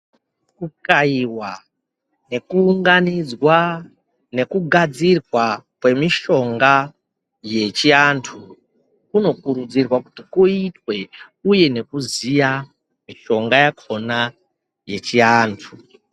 Kukayiwa nekuunganidzwa nekugadzirwa kwemishonga yechiantu, kunokurudzirwa kuti kuitwe, uye nekuziya mishonga yakhona yechiantu.